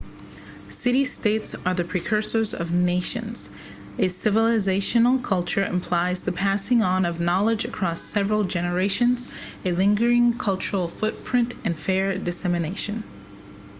city-states are the precursors of nations a civilizational culture implies the passing on of knowledge across several generations a lingering cultural footprint and fair dissemination